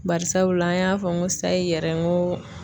Bari sabula an y'a fɔ n ko sayi yɛrɛ n ko